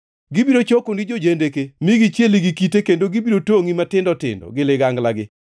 Gibiro chokoni jo-jendeke mi gichielgi gi kite kendo gibiro tongʼi matindo tindo gi liganglagi.